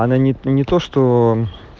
она не то что